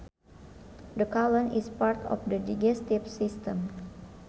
The colon is part of the digestive system